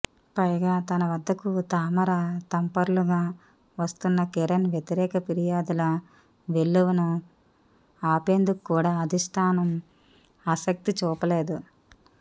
పైగా తన వద్దకు తామర తంపరలుగా వస్తున్న కిరణ్ వ్యతిరేక ఫిర్యాదుల వెల్లువను ఆపేందుకు కూడా అధిష్టానం ఆసక్తి చూపలేదు